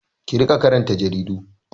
Ki riƙa karanta jaridu!